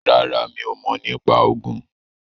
ràrá mí o mọ nipa Ogun.